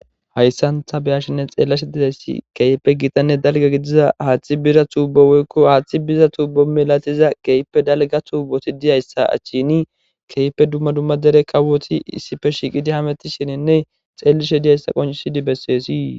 hayssantha beyashinne xeellishe diyayssi keype gitanne dalga gidiza haaththi bira tuubo woykko haaththi biza tuubo milatiza keype dalga tuuboti diyayssa achchini keype dumma dumma dere kawoti issife shiqidi hametishininne xeellishe diyayssa qonchisidi besseesii